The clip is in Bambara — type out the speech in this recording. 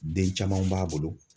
Den camanw b'a bolo.